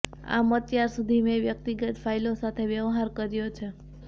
આમ અત્યાર સુધી મેં વ્યક્તિગત ફાઇલો સાથે વ્યવહાર કર્યો છે